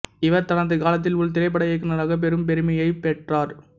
இவர் தனது காலத்த்தில் ஒரு திரைப்பட இயக்குநராக பெரும் பெருமையைப் பெற்றார்